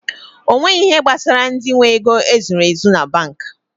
Onweghi ihe gbasara ndị nwe ego e zuru ezu banki